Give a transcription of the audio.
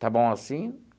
Está bom assim?